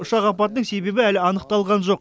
ұшақ апатының себебі әлі анықталған жоқ